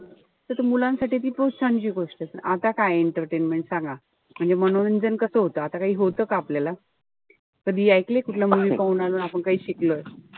त ते मुलांसाठी खूप छानशी गोष्टय. पण आता काय entertaintment ए सांगा. म्हणजे मनोरंजन कस होत. आता काई होत का आपल्याला. कधी ऐकलय कुठल्या movie पाहून आलोय आणि काई शिकलोय.